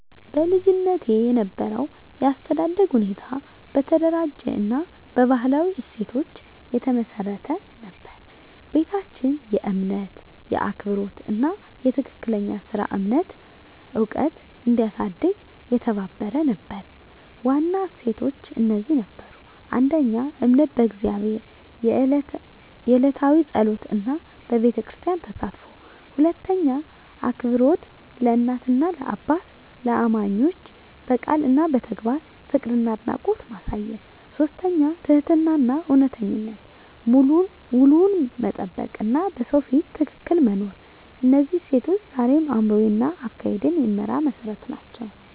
በልጅነቴ የነበረው የአስተዳደግ ሁኔታ በተደራጀ እና በባህላዊ እሴቶች የተመሰረተ ነበር። ቤታችን የእምነት፣ የአክብሮት እና የትክክለኛ ሥራ እምነት ዕውቀት እንዲያሳድግ የተባበረ ነበር። ዋና እሴቶች እነዚህ ነበሩ: 1. እምነት በእግዚአብሔር፣ የዕለታዊ ጸሎት እና በቤተክርስቲያን ተሳትፎ። 2. አክብሮት ለእናት፣ ለአባትና ለእማኞች፣ በቃል እና በተግባር ፍቅርና አድናቆት ማሳየት። 3. ትህትናና እውነተኝነት፣ ውሉን መጠበቅ እና በሰው ፊት ትክክል መኖር። እነዚህ እሴቶች ዛሬም አእምሮዬን እና አካሄዴን የሚመራ መሠረት ናቸው።